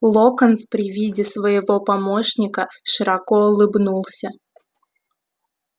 локонс при виде своего помощника широко улыбнулся